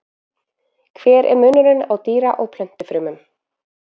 Hver er munurinn á dýra- og plöntufrumum?